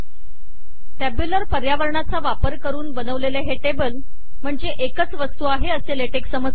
tabular पर्यावरणचा वापर करून बनवलेले हे टेबल म्हणजे एकच वस्तू आहे असे लेटेक समजते